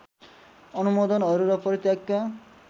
अनुमोदनहरू र परित्यागका